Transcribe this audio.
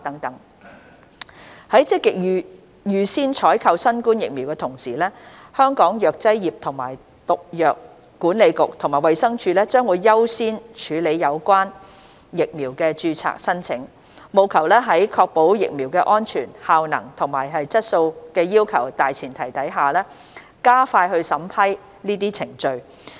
在積極預先採購新冠疫苗的同時，香港藥劑業及毒藥管理局及衞生署將優先處理有關疫苗的註冊申請，務求在確保疫苗的安全、效能和質素要求的大前提下，加快審批程序。